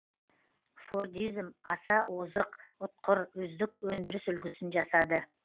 фордизм аса озық ұтқыр үздік өндіріс үлгісін жасады